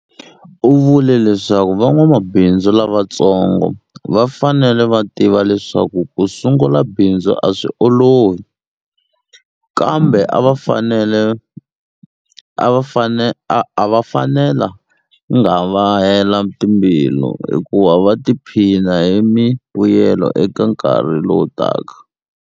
U vule leswaku van'wamabindzu lavatsongo va fanele va tiva leswaku ku sungula bindzu a swi olovi, kambe a va fanelanga va hela timbilu hikuva va ta tiphina hi mivuyelo eka nkarhi lowu taka.